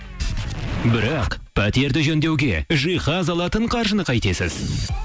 бірақ пәтерді жөндеуге жиһаз алатын қаржыны қайтесіз